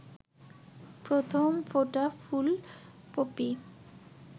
প্রথম ফোটা ফুল পপি